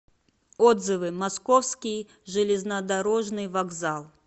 отзывы московский железнодорожный вокзал